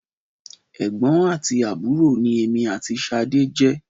Ẹ̀gbọ́n àti àbúrò ni èmi àti Ṣadé jẹ́.